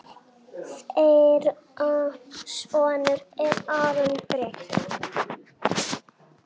Þeirra sonur er Aron Breki.